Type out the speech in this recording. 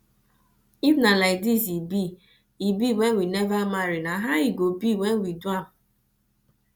if na like this e be e be when we never marry na how e go be when we do am